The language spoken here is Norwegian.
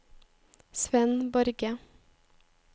Svenn Borge